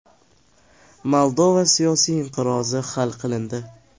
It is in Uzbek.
Moldova siyosiy inqirozi hal qilindi.